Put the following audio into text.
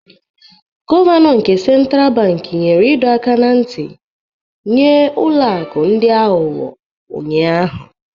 Gọvanọ nke Central Bank nyere ịdọ aka ná ntị nye ụlọ akụ ndị aghụghọ ụnyahụ